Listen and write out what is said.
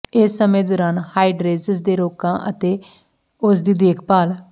ਇਸ ਸਮੇਂ ਦੌਰਾਨ ਹਾਈਡਰੇਜੇਜ ਦੇ ਰੋਗਾਂ ਅਤੇ ਉਸ ਦੀ ਦੇਖਭਾਲ